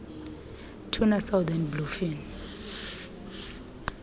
tuna southern bluefin